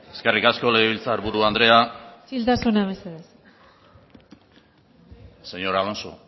eskerrik asko legebiltzarburu andrea isiltasuna mesedez señor alonso